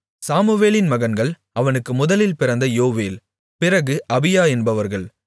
சாமுவேலின் மகன்கள் அவனுக்கு முதலில் பிறந்த யோவேல் பிறகு அபியா என்பவர்கள்